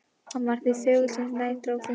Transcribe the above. Hann varð því þögulli sem nær dró Þingvöllum.